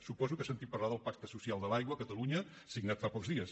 suposo que ha sentit parlar del pacte social de l’aigua a catalunya signat fa pocs dies